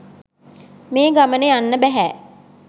මේ ගමන යන්න බැහැ.